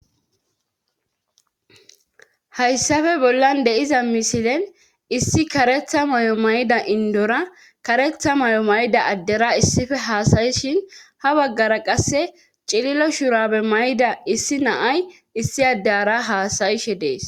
hayssafe bollan deiza misilen issi karetha mayo mayda indora karetha mayo mayda addera issife haasayi shin ha baggara qasse cililo shurabe mayda issi naay issi addeara haasayishe dees